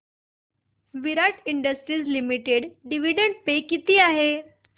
विराट industries limited dividend pay किती आहे